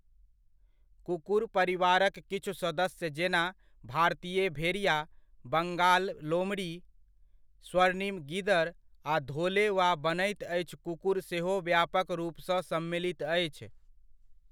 कुकुर परिवारक किछु सदस्य जेना भारतीय भेड़िया, बङ्गाल लोमड़ी, स्वर्णिम गीदड़, आ धोले वा बनैत अछि कुकुर सेहो व्यापक रूपसँ सम्मिलित अछि।